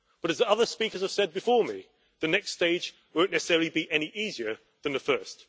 But as other speakers have said before me, the next stage won't necessarily be any easier than the first.